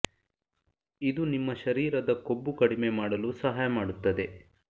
ಇದು ನಿಮ್ಮ ಶರೀರದ ಕೊಬ್ಬು ಕಡಿಮೆ ಮಾಡಲು ಸಹಾಯ ಮಾಡುತ್ತದೆ